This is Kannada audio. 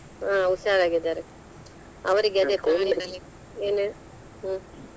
ಹಾ ಹುಷಾರಾಗಿದಾರೆ ಅವ್ರಿಗೆ ಅದೇ ಏನು ಹೇಳು? ಹ್ಮ್‌.